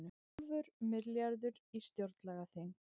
Hálfur milljarður í stjórnlagaþing